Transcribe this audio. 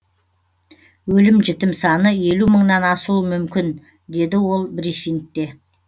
өлім жітім саны елу мыңнан асуы мүмкін деді ол брифингте